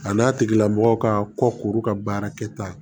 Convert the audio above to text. A n'a tigilamɔgɔ ka kɔkuru ka baara kɛta